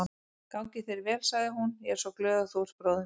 Gangi þér vel, sagði hún, ég er svo glöð að þú ert bróðir minn.